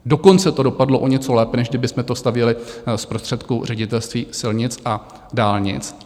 Dokonce to dopadlo o něco lépe, než kdybychom to stavěli z prostředků Ředitelství silnic a dálnic.